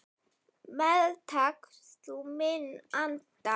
Meðtak þú minn anda.